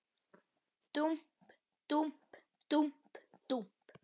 Dúmp, dúmp, dúmp, dúmp.